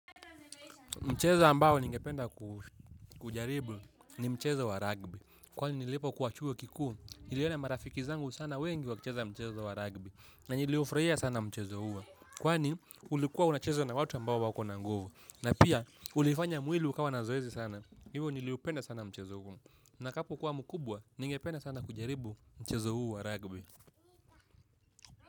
Mchezo ambao ningependa kujaribu ni mchezo wa ragbi. Kwani nilipo kuwa chuo kikuu, niliona marafiki zangu sana wengi wakicheza mchezo wa ragbi. Na niliufurahia sana mchezo huo. Kwani ulikuwa unachezwa na watu ambao wako na nguvu. Na pia, ulifanya mwili ukawa na zoezi sana. Hivo niliupenda sana mchezo huo. Nitakapo kuwa mkubwa, ningependa sana kujaribu mchezo huu ragbi.